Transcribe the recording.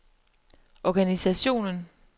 organisationen